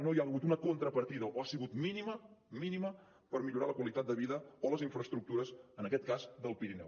no hi ha hagut una contrapartida o ha sigut mínima mínima per millorar la qualitat de vida o les infraestructures en aquest cas del pirineu